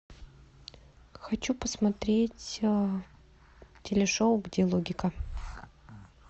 хочу посмотреть телешоу где логика